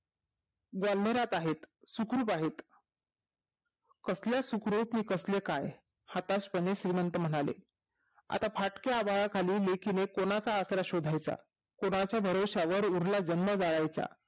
दवलनात आहे सुखरूप आहे कसल्या सुखरूप आणि कसले काय हताश पणे श्रीमत म्हणाले आता फाटल्या आभाळाखाली लेकीने कोणाचा आसरा शोधायचा कोणाच्या भरोशावर उरला जन्म काठायचा